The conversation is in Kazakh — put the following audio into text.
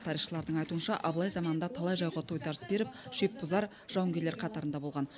тарихшылардың айтуынша абылай заманында талай жауға тойтарыс беріп шепбұзар жауынгерлер қатарында болған